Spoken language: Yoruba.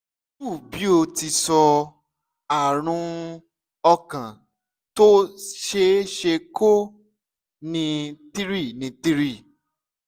two bí o ti sọ - àrùn ọkàn tó ṣeé ṣe kó ní three ní three